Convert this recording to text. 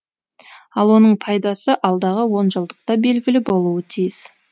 ал оның пайдасы алдағы онжылдықта белгілі болуы тиіс